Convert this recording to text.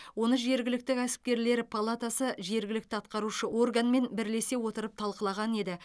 оны жергілікті кәсіпкерлер палатасы жергілікті атқарушы органмен бірлесе отырып талқылаған еді